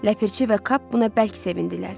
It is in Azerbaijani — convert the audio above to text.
Ləpirçi və Kap buna bərk sevindilər.